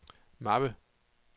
mappe